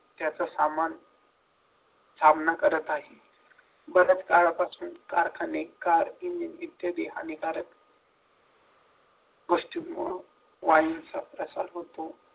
त्याचा सामान सामना करत आहेत बरंच काळापासून कारखाने कार इंजिन इत्यादी हानिकारक गोष्टींमुळे वायूचा प्रसार होतो